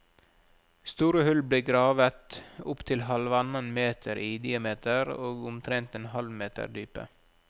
Store hull ble gravet, opptil halvannen meter i diameter og omtrent en halv meter dype.